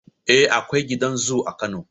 Eh, Akwai gidan zoo a Kano